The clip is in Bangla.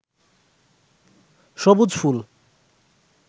সবুজ ফুল